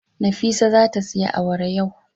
Nafisa zata siya awara yau.